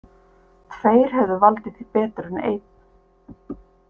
Tveir hefðu valdið því betur en einn.